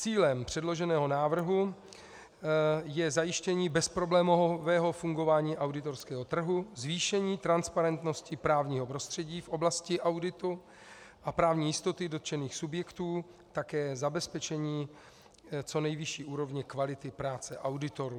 Cílem předloženého návrhu je zajištění bezproblémového fungování auditorského trhu, zvýšení transparentnosti právního prostředí v oblasti auditu a právní jistoty dotčených subjektů, také zabezpečení co nejvyšší úrovně kvality práce auditorů.